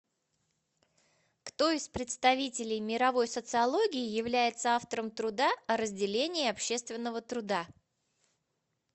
кто из представителей мировой социологии является автором труда о разделении общественного труда